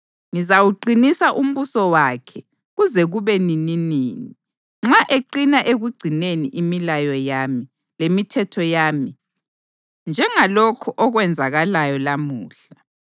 Ngizawuqinisa umbuso wakhe kuze kube nininini nxa eqina ekugcineni imilayo yami lemithetho yami njengalokhu okwenzakalayo lamuhla.’